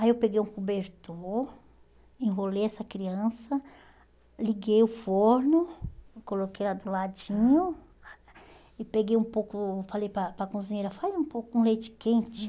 Aí eu peguei um cobertor, enrolei essa criança, liguei o forno, coloquei ela do ladinho e peguei um pouco, falei para para cozinheira, faz um pouco com leite quente.